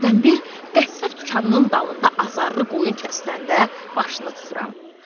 Hərdən bir qəssab dükanının dalında azarlı qoyun kəsiləndə başını tuturam.